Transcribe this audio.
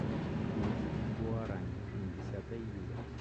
курс гуарани на десятое июля